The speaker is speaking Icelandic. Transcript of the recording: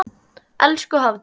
Elsku Hafdís.